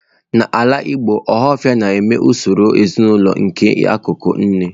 N'ala Igbo, ohafia na-eme usoro ezinaụlọ nke ikwu nne.